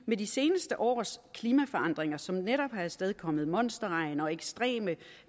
med de seneste års klimaforandringer som netop har afstedkommet monsterregn og ekstreme